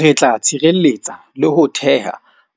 Re tla tshireletsa le ho theha